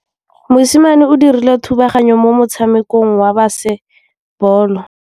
Mosimane o dirile thubaganyô mo motshamekong wa basebôlô.